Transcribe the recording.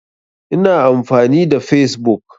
Ina amfani da fesbuk.